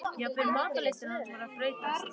Jafnvel matarlyst hans var að breytast.